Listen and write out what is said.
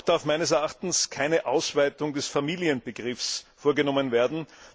Auch darf meines Erachtens keine Ausweitung des Familienbegriffs vorgenommen werden.